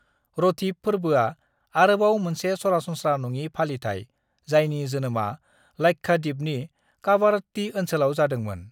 रथीब फोर्बोआ आरोबाव मोनसे सरासनस्रा-नङि फालिथाइ जायनि जोनोमा लाक्षाद्वीपनि कावारत्ती ओनसोलाव जादोंमोन।